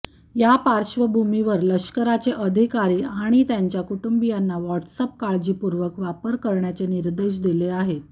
या पार्श्वभूमीवर लष्कराचे अधिकारी आणि त्यांच्या कुटुंबीयांना व्हॉट्सअप काळजीपूर्वक वापर करण्याचे निर्देश दिले आहेत